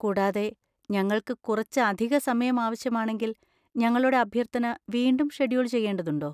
കൂടാതെ, ഞങ്ങൾക്ക് കുറച്ച് അധിക സമയം ആവശ്യമാണെങ്കിൽ, ഞങ്ങളുടെ അഭ്യർത്ഥന വീണ്ടും ഷെഡ്യൂൾ ചെയ്യേണ്ടതുണ്ടോ?